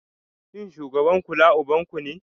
Shin shugaban kula ubanku ne?